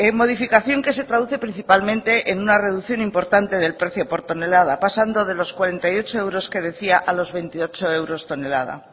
modificación que se traduce principalmente en una reducción importante del precio por tonelada pasando de los cuarenta y ocho euros que decía a los veintiocho euros tonelada